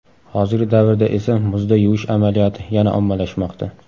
Hozirgi davrda esa muzda yuvish amaliyoti yana ommalashmoqda.